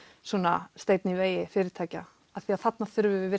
svona steinn í vegi fyrirtækja því þarna þurfum við